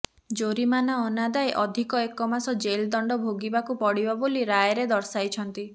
ଜୋରିମାନା ଅନାଦାୟେ ଅଧିକ ଏକମାସ ଜେଲଦଣ୍ଡ ଭୋଗିବାକୁ ପଡ଼ିବ ବୋଲି ରାୟରେ ଦର୍ଶାଇଛନ୍ତି